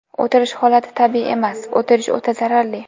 O‘tirish holati tabiiy emas, o‘tirish o‘ta zararli.